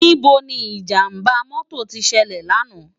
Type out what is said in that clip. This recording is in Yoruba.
Nibó ni ijàmbá mòtó ti sèlè làná?